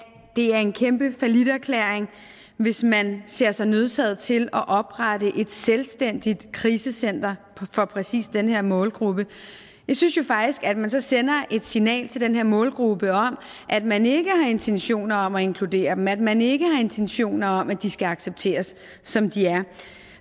det er en kæmpe falliterklæring hvis man ser sig nødsaget til at oprette et selvstændigt krisecenter for præcis den her målgruppe jeg synes jo faktisk at man så sender et signal til den her målgruppe om at man ikke har intentioner om at inkludere dem at man ikke har intentioner om at de skal accepteres som de er